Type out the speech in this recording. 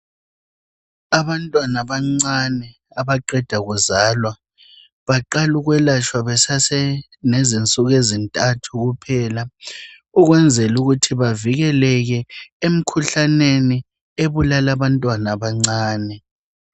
Abantwana abancane abaqeda kuzalwa baqala ukwelatshwa besasenezinsuku ezintathu kuphela ukwenzela ukuthi bavikeleke emkhuhlaneni ebulala abantwana abancane.